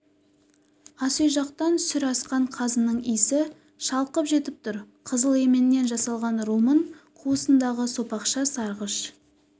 ас үй жақтан сүр асқан қазының иісі шалқып жетіп тұр қызыл еменнен жасалған румын қуысындағы сопақша сарғыш